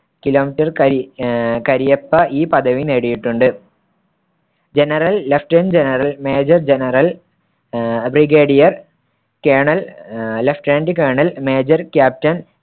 കരി ആഹ് കരിയപ്പ ഈ പദവി നേടിയിട്ടുണ്ട്. general, lieutenant general, major general ah brigadier, colonel ah lieutenant colonel, major, captain